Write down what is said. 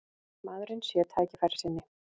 Maðurinn sé tækifærissinni